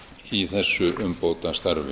í þessu umbótastarfi